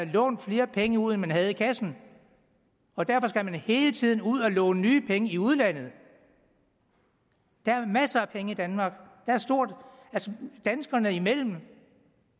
lånt flere penge ud end man havde i kassen og derfor skal man hele tiden ud at låne nye penge i udlandet der er masser af penge i danmark altså danskerne imellem